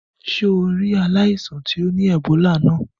Sé o rí ri aláìsàn to ni Ebola náà?